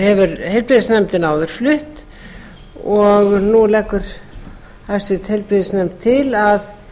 hefur heilbrigðisnefnd áður flutt og nú leggur háttvirtur heilbrigðisnefnd til að